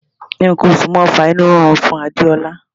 Nǹkan oṣù máà ń fa inú rírun fún Adéọlá.